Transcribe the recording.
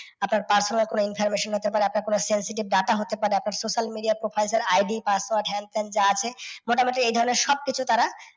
আপনার password বা কোনও information হতে পারে, আপনার কোনও sensitive data হতে পারে, আপনার social media profile এর ID password হেন তেন যা আছে মোটামুটি এই ধরণের সব কিছু তারা